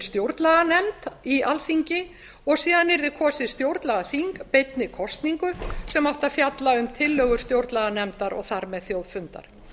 stjórnlaganefnd í alþingi og síðan yrði kosið stjórnlagaþing beinni kosningu sem átti að fjalla um tillögur stjórnlaganefndar og á með þjóðfundar